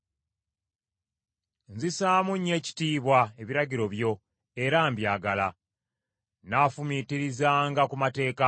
Nzisaamu nnyo ekitiibwa ebiragiro byo era mbyagala. Nnaafumiitirizanga ku mateeka go.